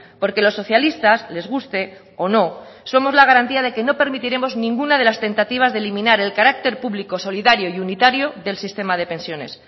porque los socialistas les guste o no somos la garantía de que no permitiremos ninguna de las tentativas de eliminar el carácter público solidario y unitario del sistema de pensiones